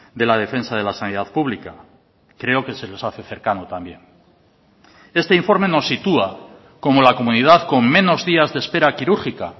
de la defensa de la sanidad pública creo que se les hace cercano también este informe nos sitúa como la comunidad con menos días de espera quirúrgica